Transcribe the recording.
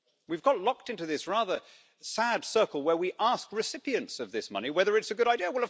We've got locked into this rather sad circle where we ask recipients of this money whether it's a good idea.